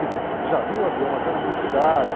Quer dizer, já havia o avião, mas era muito caro.